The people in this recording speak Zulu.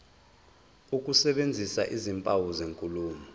ukusebenzisa izimpawu zenkulumo